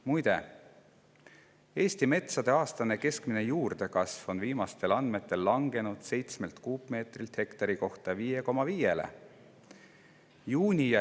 Muide, Eesti metsade aastane keskmine juurdekasv on viimastel andmetel langenud 7 kuupmeetrilt hektari kohta 5,5 kuupmeetrile.